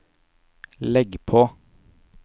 legg på